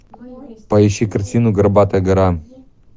поищи картину горбатая гора